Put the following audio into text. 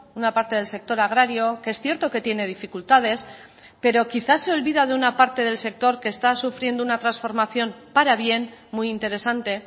una parte del sector agrario que es cierto que tiene dificultades pero quizás se olvida de una parte del sector que está sufriendo una transformación para bien muy interesante